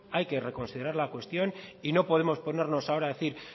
hay que reconsiderar la cuestión y no podemos ponernos ahora a decir